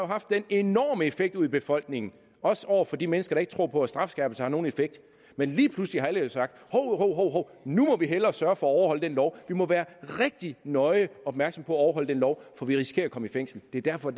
haft den enorme effekt ude i befolkningen også over for de mennesker som ikke tror på at strafskærpelse har nogen effekt men lige pludselig har alle jo sagt hov hov nu må vi hellere sørge for at overholde den lov vi må være rigtig nøje opmærksomme på at overholde den lov for vi risikerer at komme i fængsel det er derfor